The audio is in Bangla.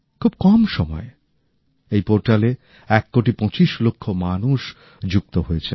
খুব কম সময়ে এই পোর্টালে ১ কোটি২৫ লক্ষ মানুষ যুক্ত হয়েছেন